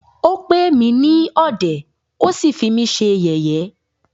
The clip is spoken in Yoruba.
Ó pè mí ní ọ̀dẹ̀,ó sí fí mí ṣe yẹ̀yé.